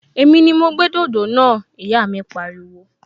Èmi ni mo gbé dòdò náà! Ìyá mi pariwo